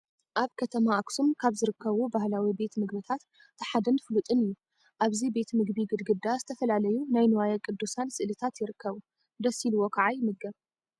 ኣብ ከተማ ኣክሱም ካብ ዝርከቡ ባህላዊ ቤት ምግብታት እቲ ሓደን ፍሉጥን እዩ። ኣብዚ ቤት ምግቢ ግድግዳ ዝተፈላለዩ ናይ ንዋየ ቅዱሳን ስእልታት ይርከቡ። ደስ ኢሉዎ ከዓ ይምገብ።